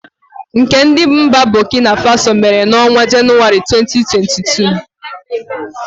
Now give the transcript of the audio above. Nke ndi mba Bokina Faso mere n'ọnwa Januari, 2022.